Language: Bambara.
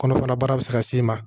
Kɔnɔfara baara bɛ se ka s'e ma